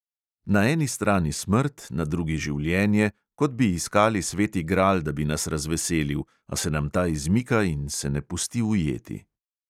Na eni strani smrt, na drugi življenje, kot bi iskali sveti gral, da bi nas razveselil, a se nam ta izmika in se ne pusti ujeti.